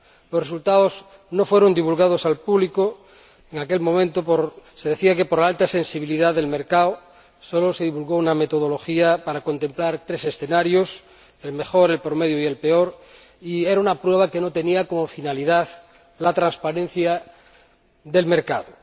Los resultados no fueron divulgados al público en aquel momento se decía que por la alta sensibilidad del mercado solo se divulgó una metodología para contemplar tres escenarios el mejor, el promedio y el peor y eran unas pruebas que no tenían como finalidad la transparencia del mercado.